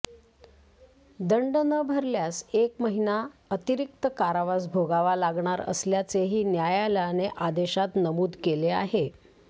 दंड न भरल्यास एक महिना अतिरिक्त कारावास भोगावा लागणार असल्याचेही न्यायालयाने आदेशात नमुद केले आहे